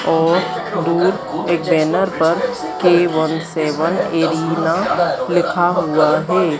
और दूर एक बैनर पर के वन सेवन एरेना लिखा हुआ है।